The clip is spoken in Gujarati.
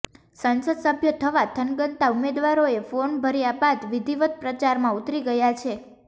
સંસદસભ્ય થવા થનગનતા ઉમેદવારોએ ફોર્મ ભર્યા બાદ વિધિવત પ્રચારમાં ઉતરી ગયા છે